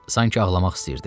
Sanki ağlamaq istəyirdi.